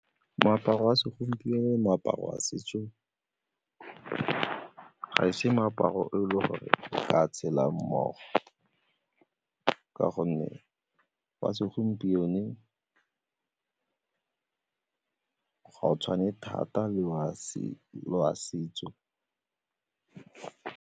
Moaparo wa segompieno, moaparo wa setso ga e se meaparo e le gore re ka tshela mmogo ka gonne wa segompieno ga o tshwane thata le wa setso.